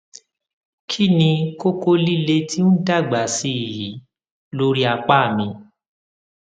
kí ni kókó líle tí ń dàgbà sí i yìí lórí apá mi